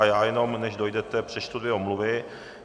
A já jenom, než dojdete, přečtu dvě omluvy.